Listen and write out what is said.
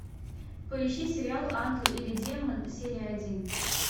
поищи сериал ангел или демон серия один